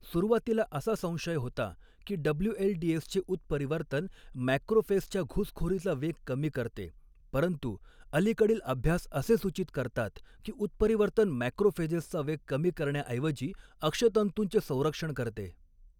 सुरुवातीला, असा संशय होता की डब्ल्यूएलडीएसचे उत्परिवर्तन मॅक्रोफेजच्या घुसखोरीचा वेग कमी करते, परंतु अलीकडील अभ्यास असे सूचित करतात की उत्परिवर्तन मॅक्रोफेजेसचा वेग कमी करण्याऐवजी अक्षतंतूंचे संरक्षण करते.